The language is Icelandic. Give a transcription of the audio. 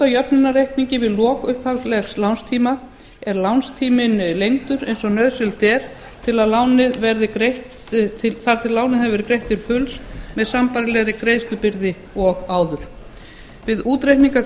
skuldajöfnunarreikningur við lok upphaflegs lánstíma er lánstíminn lengdur eins og nauðsynlegt er þar til lánið hefur verið greitt til fulls með sambærilegri greiðslubyrði og áður við útreikning á